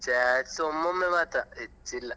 Chats ಒಮ್ಮೊಮ್ಮೆ ಮಾತ್ರ ಹೆಚ್ಚಿಲ್ಲ.